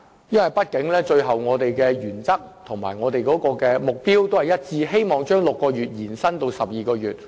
畢竟我們的原則和目標一致，同樣希望把6個月期限延至12個月。